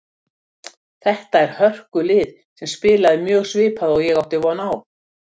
Þetta er hörkulið sem spilaði mjög svipað og ég átti von á.